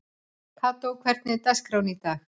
Kató, hvernig er dagskráin í dag?